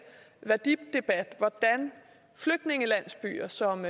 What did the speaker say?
værdidebat hvordan flygtningelandsbyer som